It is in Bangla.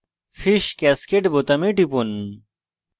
fish cascade fish cascade বোতামে টিপুন